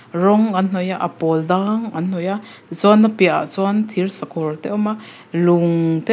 rawng an hnawih a a pawl dang an hnawih a tichuan a piahah sawn thir sakawr a awm a lung te awm--